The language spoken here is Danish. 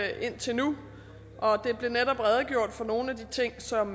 jeg indtil nu og der blev netop redegjort for nogle af de ting som